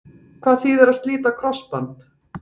Hvað þýðir að slíta krossband?